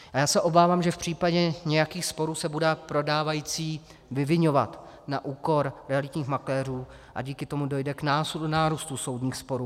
A já se obávám, že v případě nějakých sporů se bude prodávající vyviňovat na úkor realitních makléřů a díky tomu dojde k nárůstu soudních sporů.